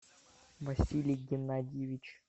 василий геннадьевич